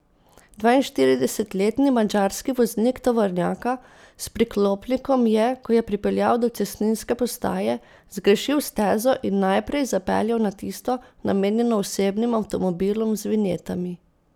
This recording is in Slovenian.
Dvainštiridesetletni madžarski voznik tovornjaka s priklopnikom je, ko je pripeljal do cestninske postaje, zgrešil stezo in najprej zapeljal na tisto, namenjeno osebnim avtomobilom z vinjetami.